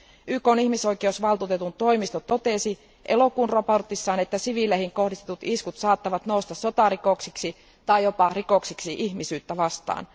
YKn ihmisoikeusvaltuutetun toimisto totesi elokuun raportissaan, että siviileihin kohdistetut iskut saattavat nousta sotarikoksiksi tai jopa rikoksiksi ihmisyyttä vastaan.